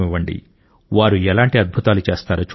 వారు ఎలాంటి అద్భుతాలు చేస్తారో చూడండి